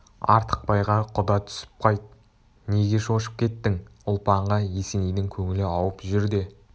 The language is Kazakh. артықбайға құда түсіп қайт неге шошып кеттің ұлпанға есенейдің көңілі ауып жүр де